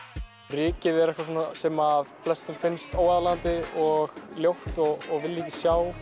rykið er eitthvað sem flestum finnst óaðlaðandi og ljótt og vilja ekki sjá